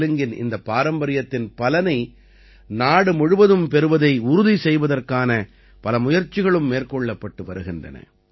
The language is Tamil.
தெலுங்கின் இந்த பாரம்பரியத்தின் பலனை நாடு முழுவதும் பெறுவதை உறுதி செய்வதற்கான பல முயற்சிகளும் மேற்கொள்ளப்பட்டு வருகின்றன